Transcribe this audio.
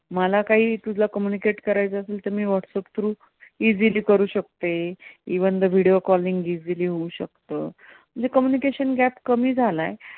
मला कांही तुला communicate करायचं असेल तर तुला व्हाट्सएप through easily करू शकते. even though video calling easily होऊ शकतं. म्हणजे communication gap कमी झालाय.